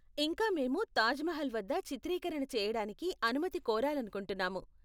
ఇంకా, మేము తాజ్ మహల్ వద్ద చిత్రీకరణ చేయడానికి అనుమతి కోరాలనుకుంటున్నాము.